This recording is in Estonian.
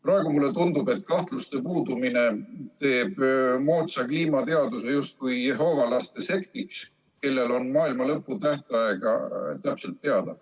Praegu mulle tundub, et kahtluste puudumine teeb moodsa kliimateaduse justkui jehoovalaste sektiks, kellel on maailmalõpu tähtaeg täpselt teada.